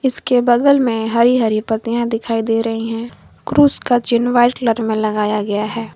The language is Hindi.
इश्के बगल में हरी हरी पत्तियां दिखाई दे रही हैं क्रूस का चिन्ह व्हाइट कलर में लगाया गया है।